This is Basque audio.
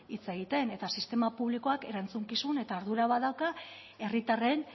hitz egiten eta sistema publikoak erantzukizun eta ardura badauka herritarren